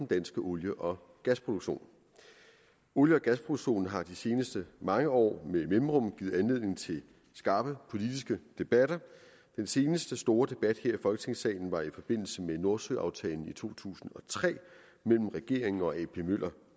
danske olie og gasproduktion olie og gasproduktionen har i de seneste mange år med mellemrum givet anledning til skarpe politiske debatter og den seneste store debat her i folketingssalen var i forbindelse med nordsøaftalen i to tusind og tre mellem regeringen og ap møller